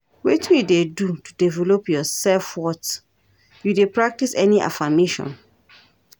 wetin you dey do to develop your self-worth, you dey practice any affirmation?